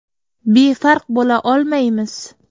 Befarq bo‘la olmaymiz.